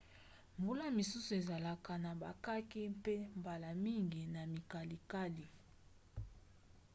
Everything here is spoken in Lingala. mbula misusu ezalaka na bakake mpe mbala mingi na mikalikali